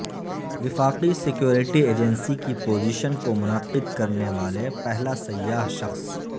وفاقی security agency کی position کو منعقد کرنے والے پہلا سیاہ شخص